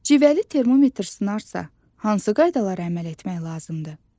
Civəli termometr sınarsa, hansı qaydalara əməl etmək lazımdır?